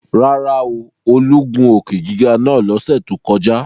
Rárá o, Olú gun òkè-giga naa lọ́sẹ̀ tó kọjá